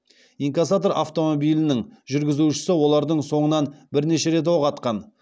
инкассатор автомобилінің жүргізушісі олардың соңынан бірнеше рет оқ атқан